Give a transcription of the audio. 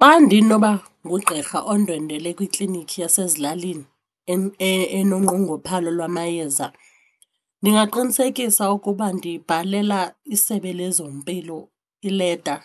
Xa ndinoba ngugqirha undwendwele kwiiklinikhi yasezilalini enoqongophalo lwamayeza ndingaqinisekisa ukuba ndibhalela iSebe lezoMpilo ileta